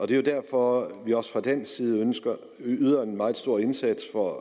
det er jo derfor vi også fra dansk side yder en meget stor indsats for